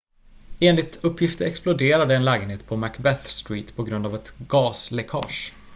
enligt uppgifter exploderade en lägenhet på macbeth street på grund av ett gasläckage